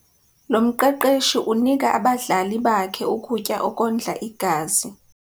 Lo mqeqeshi unika abadlali bakhe ukutya okondla igazi.